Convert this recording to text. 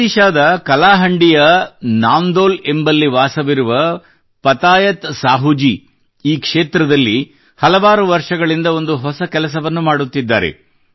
ಒಡಿಶಾದ ಕಾಲಾಹಾಂಡೀ ಯ ನಾಂದೋಲ್ ಎಂಬಲ್ಲಿ ವಾಸವಿರುವ ಪತಾಯತ್ ಸಾಹೂಜೀ ಈ ಕ್ಷೇತ್ರದಲ್ಲಿ ಹಲವಾರು ವರ್ಷಗಳಿಂದ ಒಂದು ಹೊಸ ಕೆಲಸವನ್ನು ಮಾಡುತ್ತಿದ್ದಾರೆ